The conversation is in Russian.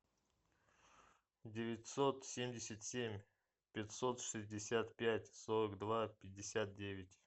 девятьсот семьдесят семь пятьсот шестьдесят пять сорок два пятьдесят девять